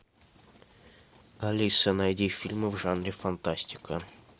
алиса найди фильмы в жанре фантастика